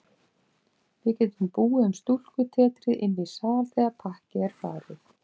Við getum búið um stúlkutetrið inní sal þegar pakkið er farið.